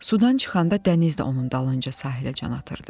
Sudan çıxanda dəniz də onun dalınca sahiləcən atırdı.